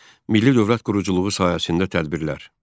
Milli dövlət quruculuğu sahəsində tədbirlər.